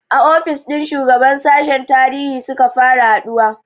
A ofis ɗin shugaban sashen tarihi suka fara haɗuwa